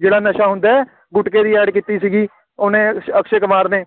ਜਿਹੜਾ ਨਸ਼ਾ ਹੁੰਦਾ ਹੈ, ਗੁਟਕੇ ਦੀ ad ਕੀਤੀ ਸੀਗੀ ਉਹਨੇ ਅਕਸ਼ੇ ਕੁਮਾਰ ਨੇ,